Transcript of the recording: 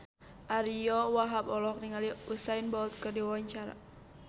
Ariyo Wahab olohok ningali Usain Bolt keur diwawancara